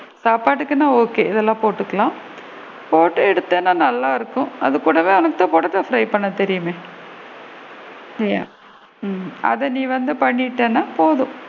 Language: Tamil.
சாப்பாடுக்குனா okay இதுல போட்டுக்கலாம் போட்டு எடுத்தேன்னா நல்லா இருக்கும் அது கூடவே உனக்கு தான் potato fry பண்ண தெரியுமே இல்லையா ஹம் அத நீ வந்து பண்ணிட்டேன்னா போதும்.